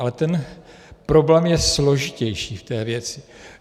Ale ten problém je složitější v té věci.